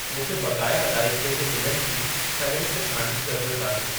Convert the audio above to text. मूंखे बक़ाया अदाइगीअ जे बिलनि जी फ़हिरिस्त ठाहिण जी ज़रूरत आहे